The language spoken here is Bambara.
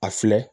A filɛ